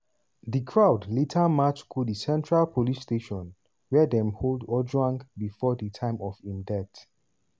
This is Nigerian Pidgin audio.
protesters hold placards and dey chant "stop killing us" dem protest for nairobi city mortuary wia dem keep ojwang body.